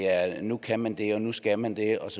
at nu kan man det og at nu skal man det og